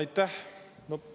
Aitäh!